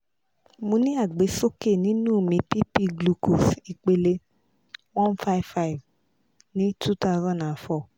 mo ni agbesoke nínú mi pp glucose ipele one five five ni two thousand and four